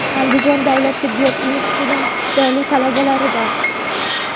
Andijon davlat tibbiyot institutining iqtidorli talabalaridan.